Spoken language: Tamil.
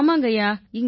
ஆமாங்கய்யா